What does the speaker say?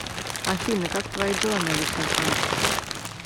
афина как твои дела на личном фронте